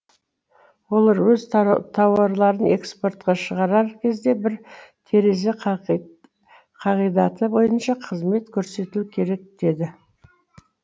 олар өз тауарларын экспортқа шығарар кезде бір терезе қағидаты бойынша қызмет көрсетілу керек деді